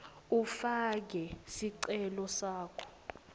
ufake sicelo sakho